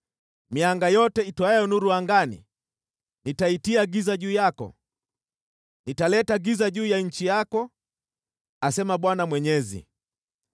Mianga yote itoayo nuru angani nitaitia giza juu yako; nitaleta giza juu ya nchi yako, asema Bwana Mwenyezi.